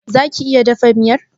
Za ki iya dafa miyar?